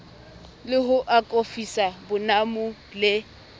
le ho akofisa bonamo le